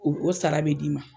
U o sara bɛ d'i ma.